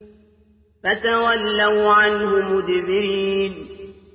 فَتَوَلَّوْا عَنْهُ مُدْبِرِينَ